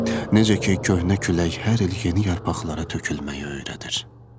Necə ki köhnə külək hər il yeni yarpaqlara tökülməyi öyrədir.